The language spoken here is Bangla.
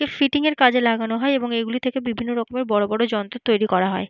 ফিটিং এর কাজে লাগানো হয় এবং এগুলি থেকে বিভিন্ন রকমের বড়বড় যন্ত্র তৈরী করা হয়।